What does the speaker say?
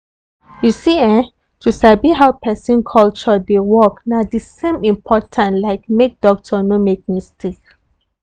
you see[um]to sabi how person culture dey work na the same important like make doctor no make mistake.